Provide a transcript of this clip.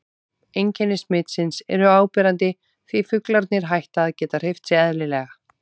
Einkenni smitsins eru áberandi því fuglarnir hætta að geta hreyft sig eðlilega.